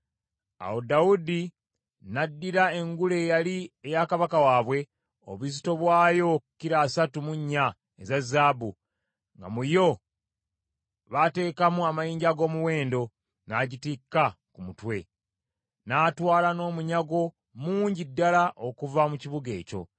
Awo Dawudi n’addira engule eyali eya kabaka waabwe, obuzito bwayo kilo asatu mu nnya eza zaabu, nga mu yo baateekamu amayinja ag’omuwendo, n’agitikka ku mutwe. N’atwala n’omunyago mungi ddala okuva mu kibuga ekyo.